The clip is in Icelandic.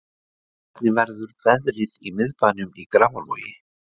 hvernig verður veðrið í miðbænum í grafavogi